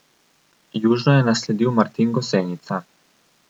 Južno je nasledil Martin Gosenica.